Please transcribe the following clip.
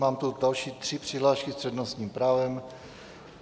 Mám tu další tři přihlášky s přednostním právem.